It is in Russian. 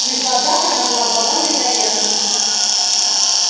в их глазах она была плодом мезальянса